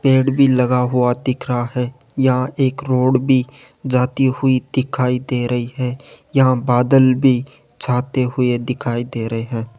पेड़ भी लगा हुआ दिख रहा है यहां एक रोड भी जाती हुई दिखाई दे रही है यहां बादल भी छाते हुए दिखाई दे रहे हैं।